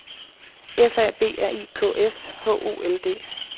F A B R I K S H O L D